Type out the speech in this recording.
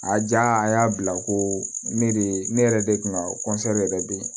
A ja a y'a bila ko ne de ye ne yɛrɛ de kun ka yɛrɛ be yen